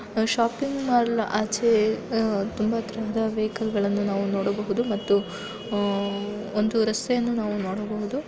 Shopping mall ಆಚೆಅಹ್ ತುಂಬಾ ತರದ ವೆಹಿಕಲ್ ಗಳನ್ನು ನಾವು ನೋಡಬಹುದು ಮತ್ತು ಅಹ್ ಒಂದು ರಸ್ತೆಯನ್ನು ನಾವು ನೋಡಬಹುದು.